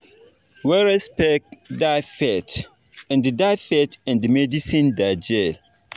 when respect da faith and da faith and medicine da jell